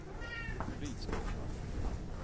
Rydsgård